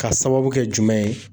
K'a sababu kɛ jumɛn ye